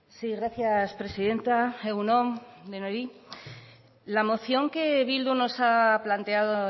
sí gracias presidenta egun on denoi la moción que bildu nos ha planteado